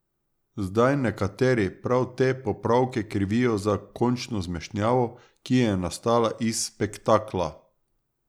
Zdaj nekateri prav te popravke krivijo za končno zmešnjavo, ki je nastala iz spektakla.